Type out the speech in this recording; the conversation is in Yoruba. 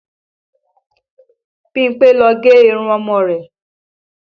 Bímpé ló gé irun ọmọ rẹ̀